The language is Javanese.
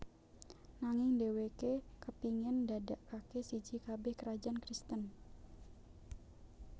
Nanging dheweke kepingin ndadekake siji kabeh krajan Kristen